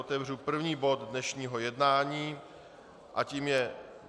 Otevírám první bod dnešního jednání a tím je